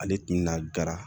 Ale tun bɛna gara